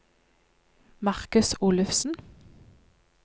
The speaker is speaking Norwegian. Marcus Olufsen